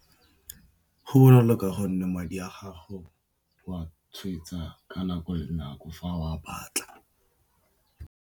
Go bonolo ka gonne, madi a gago o wa tshwetsa ka nako le nako fa o a batla.